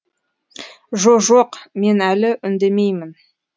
жо жоқ мен әлі үндемеймін